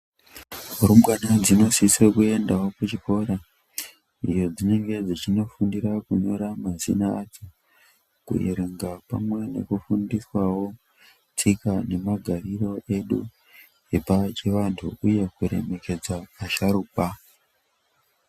Rumbwana dzinosise kuendawo kuchikora kwadzinenge dzechindofundira kunyora mazina adzo, kuerenga pamwe nekufundiswawo tsika nemagariro edu epachianhtu uye kuremekedza vasharukwa.